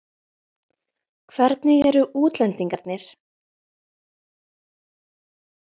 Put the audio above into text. Hvernig eru útlendingarnir?